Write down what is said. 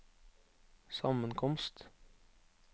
sammenkomst